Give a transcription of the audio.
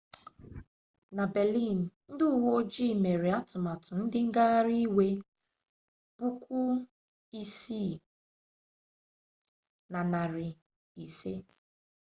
na berlin ndị uwe ojii mere atụmatụ ndị ngaghari iwe 6500